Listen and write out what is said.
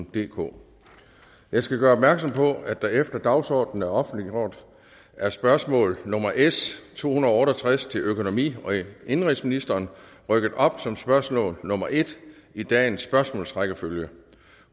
DK jeg skal gøre opmærksom på at efter at dagsordenen er offentliggjort er spørgsmål nummer s to hundrede og otte og tres til økonomi og indenrigsministeren rykket op som spørgsmål nummer en i dagens spørgsmålsrækkefølge